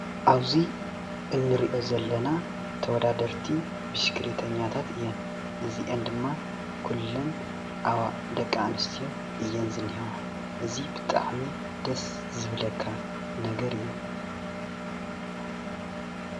ኣብዙይ እንሪኦ ዘለና ተወዳደርቲ ብሽኽሌተኛታት እየን። ነዚአን ድማ ኩለን ደቂ ኣንስትዮ እየን ዝኔህዋ እዚ ብጣዕሚ ደስ ዝብለካ ነገር እዩ